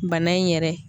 Bana in yɛrɛ